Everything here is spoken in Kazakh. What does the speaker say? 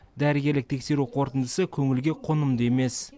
дәрігерлік тексеру қорытындысы көңілге қонымды емес